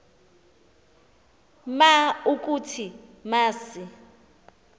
ma ukuthi masi